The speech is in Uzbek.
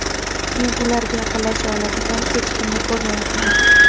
Men ularga yaqinlasha oladigan hech kimni ko‘rmayapman.